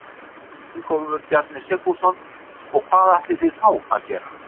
Ingólfur Bjarni Sigfússon: Og hvað ætlið þið þá að gera?